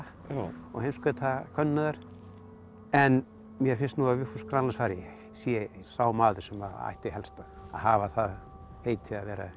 og heimskautakönnuð en mér finnst nú að Vigfús Grænlandsfari sé sá maður sem ætti helst að hafa það heiti að vera